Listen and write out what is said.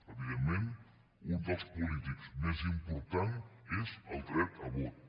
evidentment un dels polítics més important és el dret a vot